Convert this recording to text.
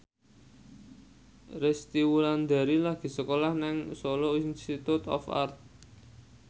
Resty Wulandari lagi sekolah nang Solo Institute of Art